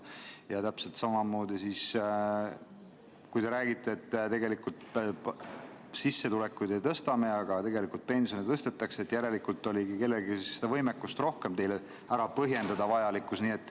Ja täpselt samamoodi, kui te räägite, et tegelikult me sissetulekuid ei tõsta, aga pensione tõstetakse, siis järelikult oligi kellelgi rohkem võimekust vajadus ära põhjendada.